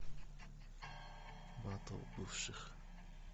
батл бывших